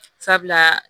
Sabula